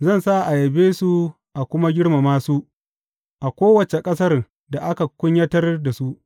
Zan sa a yabe su a kuma girmama su a kowace ƙasar da aka kunyatar da su.